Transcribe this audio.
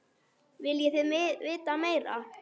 Viljið þið vita meira?